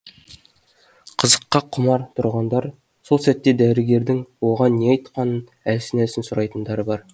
қызыққа құмар тұрғындар сол сәтте дәрігердің оған не айтқанын әлсін әлсін сұрайтындары бар